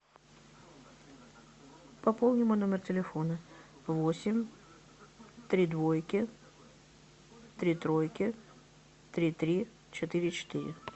пополни мой номер телефона восемь три двойки три тройки три три четыре четыре